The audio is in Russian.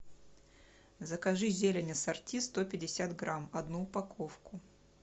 закажи зелень ассорти сто пятьдесят грамм одну упаковку